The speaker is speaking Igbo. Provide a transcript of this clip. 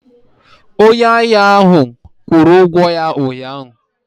Onye ahịa ahụ kwuru okwu ya ụnyahụ